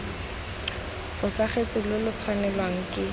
fosagatse lo lo tshwanelwang ke